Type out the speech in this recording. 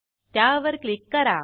त्यावर क्लिक करा